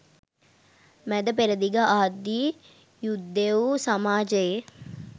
මැද පෙරදිග ආදී යුදෙවු සමාජයේ